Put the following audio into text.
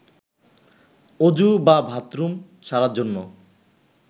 অজু বা বাথরুম সারার জন্য